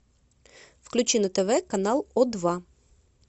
включи на тв канал о два